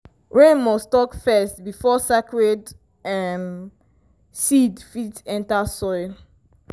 rain must talk first before sacred um seed fit enter soil.